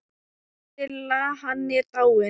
Silla, hann er dáinn.